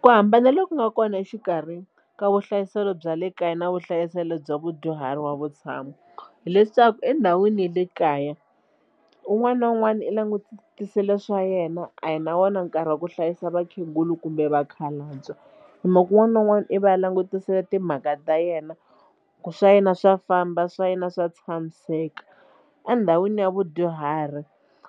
Ku hambana loku nga kona exikarhi ka vuhlayiselo bya le kaya na vuhlayiselo bya vadyuhari wa vutshamo hileswaku endhawini ya le kaya un'wana na un'wana i langutisile swa yena a hi na wona nkarhi wa ku hlayisa vakhegula kumbe vakhalabya hi mhaka ku un'wana na un'wana i va a langutisile timhaka ta yena ku swa yena swa famba swa yena swa tshamiseka. Endhawini ya vudyuhari